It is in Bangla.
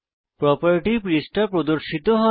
প্রোপার্টি পৃষ্ঠা প্রর্দশিত হয়